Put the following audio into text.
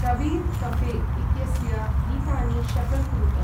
कबीर्'कफे' इत्यस्य गीतानि शऴल् कुरुत ।